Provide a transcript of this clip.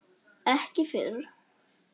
Ekki fyrr?